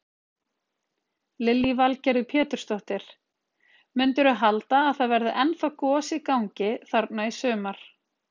Lillý Valgerður Pétursdóttir: Mundirðu halda að það verði ennþá gos í gangi þarna í sumar?